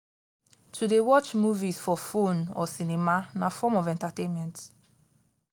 to de watch movies for phone or cinema na form of entertainment